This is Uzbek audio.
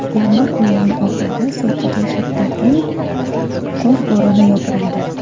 Yanvar oyining oxirida Sochiga shiddatli qor bo‘roni yopirildi.